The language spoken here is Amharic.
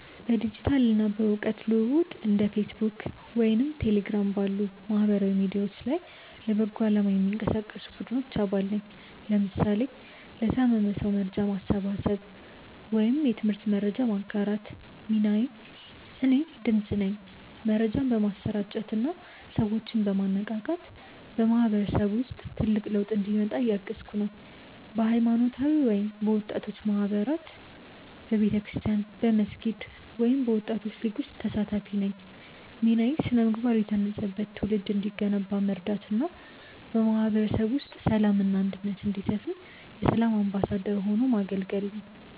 በዲጂታል እና በእውቀት ልውውጥ እንደ ፌስቡክ ወይም ቴሌግራም ባሉ ማህበራዊ ሚዲያዎች ላይ ለበጎ አላማ የሚንቀሳቀሱ ቡድኖች አባል ነኝ (ለምሳሌ ለታመመ ሰው መርጃ ማሰባሰብ ወይም የትምህርት መረጃ ማጋራት) ሚናዬ እኔ "ድምፅ" ነኝ። መረጃን በማሰራጨት እና ሰዎችን በማነቃቃት በማህበረሰቡ ውስጥ ትልቅ ለውጥ እንዲመጣ እያገዝኩ ነው። በሃይማኖታዊ ወይም በወጣቶች ማህበራት በቤተክርስቲያን፣ በመስጊድ ወይም በወጣቶች ሊግ ውስጥ ተሳታፊ ነኝ ሚናዬ ስነ-ምግባር የታነጸበት ትውልድ እንዲገነባ መርዳት እና በማህበረሰቡ ውስጥ ሰላም እና አንድነት እንዲሰፍን የ"ሰላም አምባሳደር" ሆኖ ማገልገል ነው